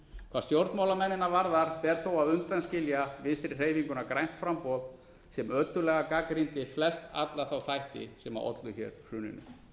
hvað stjórnmálamennina varðar ber þó að undanskilja vinstri hreyfinguna grænt framboð sem ötullega gagnrýndi flest alla þætti sem okkur hér hruninu